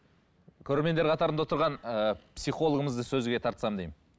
көрермендер қатарында отырған ыыы психологымызды сөзге тартсам деймін